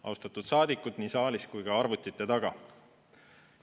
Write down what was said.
Austatud saadikud nii saalis kui ka arvutite taga!